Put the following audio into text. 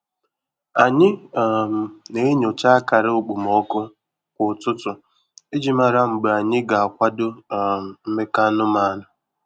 Anyị um na-enyocha akara okpomọkụ kwa ụtụtụ iji mara mgbe anyị ga-akwadọ um mmekọ anụmanụ.